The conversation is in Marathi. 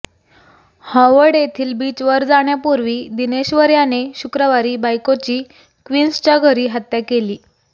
हॉवर्ड येथील बीचवर जाण्यापूर्वी दिनेश्वर याने शुक्रवारी बायकोची क्वीन्सच्या घरी हत्या केली